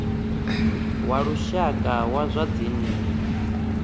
wa lushaka wa zwa dzinnu